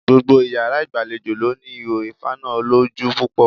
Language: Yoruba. Gbogbo iyàrá ìgbàlejò ló ní ihò ìfaná olójú púpọ̀